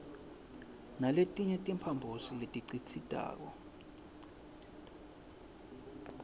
naletinye timphambosi letikhicitako